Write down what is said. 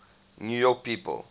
new york people